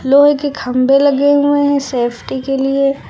लोहे के खंभे लगे हुए हैं सेफ्टी के लिए।